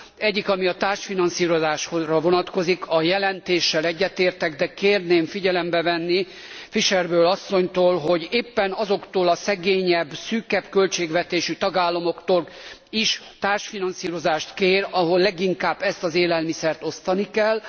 Az egyik, ami a társfinanszírozásra vonatkozik a jelentéssel egyetértek, de kérném figyelembe venni Fischer Boel asszonytól, hogy éppen azoktól a szegényebb, szűkebb költségvetésű tagállamoktól is társfinanszírozást kér, ahol leginkább ezt az élelmiszert osztani kell.